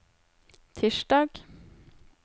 tirsdag